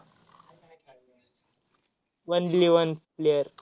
only one player